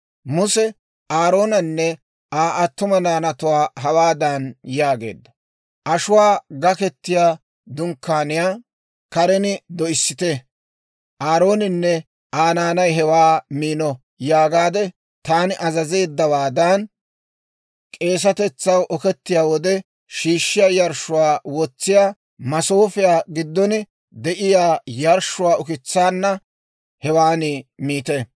Muse Aaroonanne Aa attuma naanatuwaa hawaadan yaageedda; «Ashuwaa Gakettiyaa Dunkkaaniyaa karen doyissite; ‹Aarooninne Aa naanay hewaa miino› yaagaade taani azazeeddawaadan, k'eesatetsaw okettiyaa wode shiishshiyaa yarshshuwaa wotsiyaa masoofiyaa giddon de'iyaa yarshshuwaa ukitsaanna hewan miite.